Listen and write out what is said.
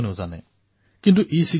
কিন্তু ইচিগাৰেটৰ কথাটো বেলেগ